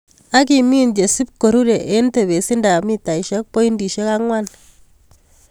Ak imin chesib korure en tebesindap mitaisiek pointisiek ang'wan.